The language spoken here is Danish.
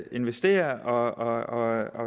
investere og